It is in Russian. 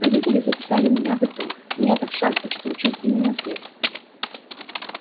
родители записали меня в итон но я так счастлив что учусь именно здесь